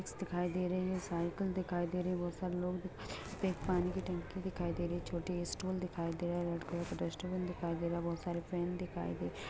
दिखाई दे रहे है साइकिल दिखाई दे रही है बहुत सारे लोग पानी की टंकी दिखाई दे रही है छोटे स्टूल दिखाई दे रहा है रेड कलर की डस्टबिन दिखाई दे रहा है बहुत सारे फ्रेंड दिखाई दे --